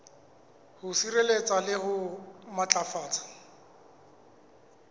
ho sireletsa le ho matlafatsa